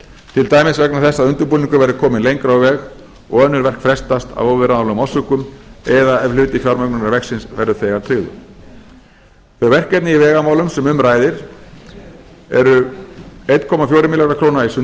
til dæmis vegna þess að undirbúningur verði kominn lengra á veg og önnur verk frestast af óviðráðanlegum orsökum eða ef hluti fjármögnunar verksins verður þegar tryggður þau verkefni í vegamálum sem um ræðir eru fjórtán hundruð milljóna króna í